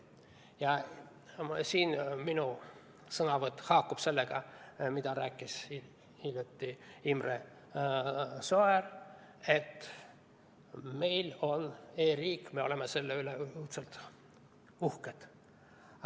Ja selles osas minu sõnavõtt haakub sellega, mida just rääkis siin Imre Sooäär: et meil on e-riik ja me oleme selle üle õudselt uhked.